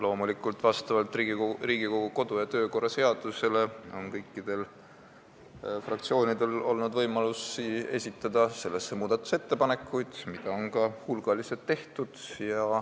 Loomulikult on kõikidel fraktsioonidel vastavalt Riigikogu kodu- ja töökorra seadusele olnud võimalik esitada selle kohta muudatusettepanekuid, mida on ka hulgaliselt tehtud.